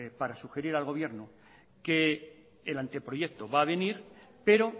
para sugerir al gobierno que el anteproyecto va a venir pero